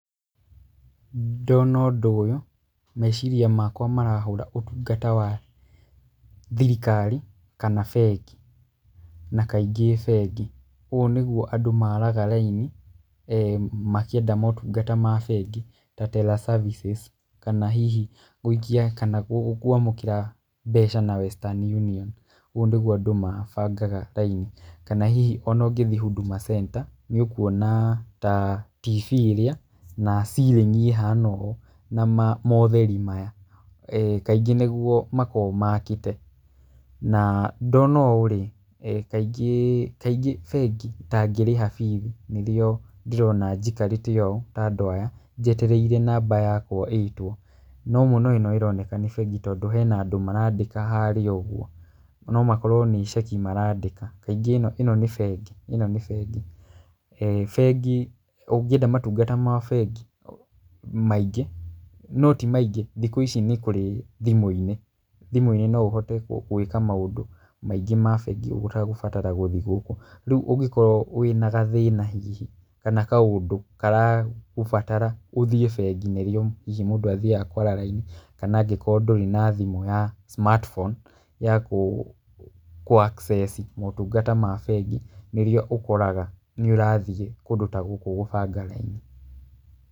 Ndona ũndũ ũyũ, meciria makwa marahũra ũtungata wa thirikari kana bengi, na kaingĩ bengi. Ũũ nĩguo andũ maaraga raini makĩenda motungata ma bengi ta terra services kana hihi gũikia kana gũ kwamũkĩra mbeca na Western Union, ũũ nĩguo andũ mabangaga raini. Kana hihi ona ũngĩthiĩ Huduma Center, nĩ ũkuona ta TV ĩrĩa na ceiling ĩhana ũũ, na motheri maya kaingĩ nĩguo makoragwo makĩte. Na ndona ũũ rĩ, kaingĩ, kaingĩ bengi ta ngĩrĩha bithi nĩrĩo ndĩrona njikarĩte ũũ, ta andũ aya, njetereire namba yakwa ĩtwo. No mũno ĩno ĩroneka nĩ bengi tondũ hena andũ marandĩka harĩa ũguo, no makorwo nĩ ceki marandĩka, kaingĩ ĩno nĩ bengi, ĩno nĩ bengi. Bengi ũngĩenda motungata ma bengi maingĩ, no ti maingĩ, thikũ ici nĩ kũrĩ thimũ-inĩ, thimũ-inĩ no ũhote gwĩka maũndũ maingĩ ma bengi ũtagũbatara gũthiĩ gũkũ. Rĩu ũngĩkorwo wĩna gathĩna hihi, kana kaũndũ karagũbatara ũthiĩ bengi nĩrĩo hihi mũndũ athiaga kwara raini, kana angĩkorwo ndũrĩ na thimũ ya smart phone yakũ kũ- access motungata ma bengi nĩrĩo ũkoraga nĩ ũrathiĩ kũndũ ta gũkũ gũbanga raini.